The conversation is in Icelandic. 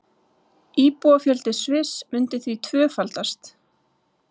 Íbúafjöldi Sviss myndi því tvöfaldast